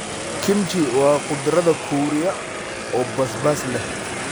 Kimchi waa khudradda Kuuriya oo basbaas leh.